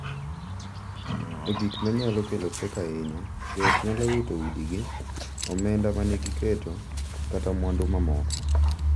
E gik ma nyalo kelo pek ahinya, joot nyalo wito udigi, omenda ma ne giketo, kata mwandu mamoko,